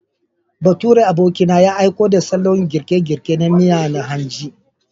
Baturen abokina ya aiko da salon girke-girke na miya na hanji.